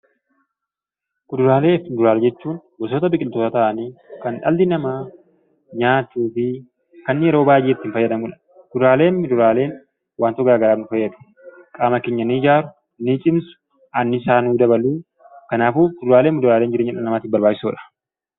Kuduraalee fi muduraalee jechuun gosoota biqiltootaa ta'anii kan dhalli namaa nyaatuu fi kan inni yeroo baay'ee itti fayyadamu dha. Kuduraalee fi fuduraaleen wantoota garaagaraaf nu fayyadu: qaama keenya ni ijaaru, ni cimsu, anniisaa nuu dabalu. Kanaafuu, kuduraalee fi muduraaleen jireenya dhala namaatiif barbaachisoo dha.